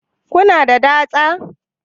Kuna da dasta?